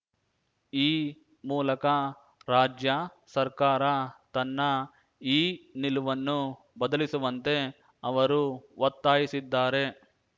ಈ ಮೂಲಕ ರಾಜ್ಯ ಸರ್ಕಾರ ತನ್ನ ಈ ನಿಲುವನ್ನು ಬದಲಿಸುವಂತೆ ಅವರು ಒತ್ತಾಯಿಸಿದ್ದಾರೆ